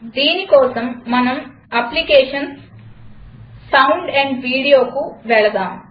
దీని కోసం మనం applications జీటీసౌండ్ ఏఎంపీ Videoకు వెళ్దాం